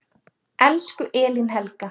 Elsku Elín Helga.